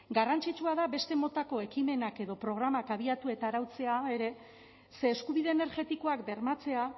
garrantzitsua da beste motako ekimenak edo programak abiatu eta arautzea ere ze eskubide energetikoak bermatzea